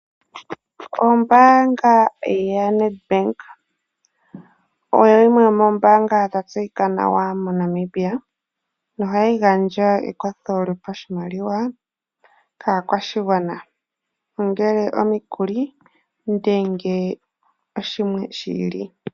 Ombaanga yaNedbank oyo yimwe yomoombaanga dha tseyika nawa moNamibia. Ohayi gandja ekwatho lyopashimaliwa kaakwashigwana, ongele omikuli nenge oshimwe shi ili.